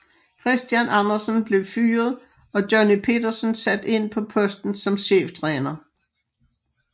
Christian Andersen blev fyret og Johnny Petersen sat ind på posten som cheftræner